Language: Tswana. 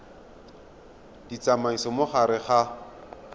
di tsamaisa mo gare ga